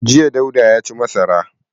Jiya Dauda ya ci masara.